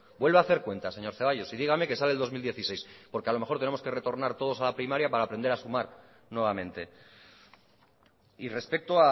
vuelva a hacer cuentas señor zaballos y dígame que sale el dos mil dieciséis porque a lo mejor tenemos que retornar todos a la primaria para aprender a sumar nuevamente y respecto